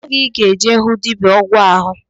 Kedụ oge ị ga-eje hụ dibịa ọgwụ ahu?